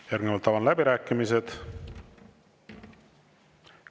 Järgnevalt avan läbirääkimised.